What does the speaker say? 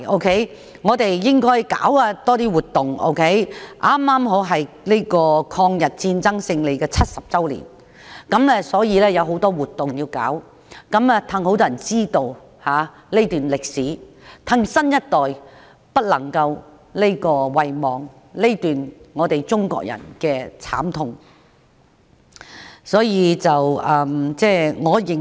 就是因為當年是抗日戰爭勝利70周年，應該多舉辦一些活動，讓更多人知道這段歷史，讓新一代不會遺忘中國人這段慘痛的歷史。